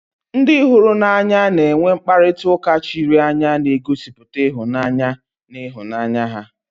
Ndị hụrụ n'anya na-enwe mkparịta ụka chiri anya na-egosipụta ịhụnanya na ịhụnanya ha